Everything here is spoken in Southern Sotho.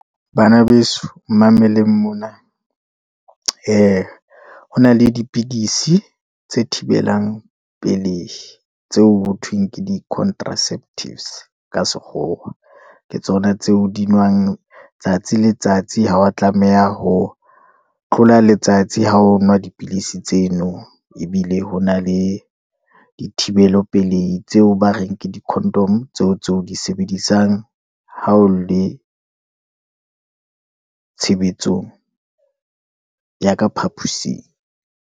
Bana beso mmameleng mona, ee hona le dipidisi tse thibelang pelei, tseo ho thweng ke di-contraceptives ka sekgowa, ke tsona tseo di nwang tsatsi le ltsatsi, ha wa tlameha ho tlola letsatsi ho ho nwa dipilisi tseno, ebile ho na le di thibelopelei tseo ba reng ke di condom, tseo di sebedisang ha o le tshebetsong ya ka phapusing.